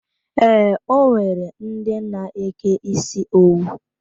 Ee, o nwere ndi n'eke isi owu.